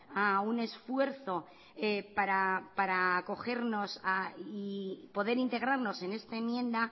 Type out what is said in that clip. a un esfuerzo para acogernos y poder integrarnos en esta enmienda